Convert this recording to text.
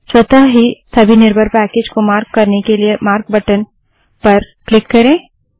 स्वतः ही सभी निर्भर पैकेज को मार्क करने के लिए मार्क बटन पर क्लिक करें